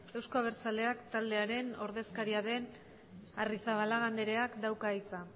euzko abertzaleak taldearen ordezkaria den arrizabalaga andereak dauka hitza